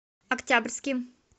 октябрьским